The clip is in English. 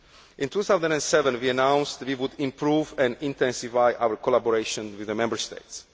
In 2007, we announced that we would improve and intensify our collaboration with the Member States.